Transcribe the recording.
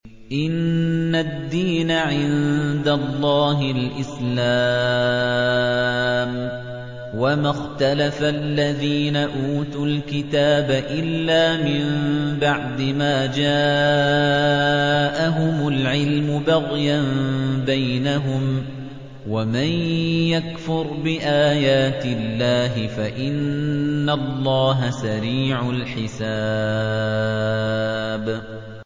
إِنَّ الدِّينَ عِندَ اللَّهِ الْإِسْلَامُ ۗ وَمَا اخْتَلَفَ الَّذِينَ أُوتُوا الْكِتَابَ إِلَّا مِن بَعْدِ مَا جَاءَهُمُ الْعِلْمُ بَغْيًا بَيْنَهُمْ ۗ وَمَن يَكْفُرْ بِآيَاتِ اللَّهِ فَإِنَّ اللَّهَ سَرِيعُ الْحِسَابِ